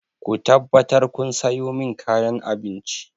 Ku tabbatar kun sayo min kayan abinci!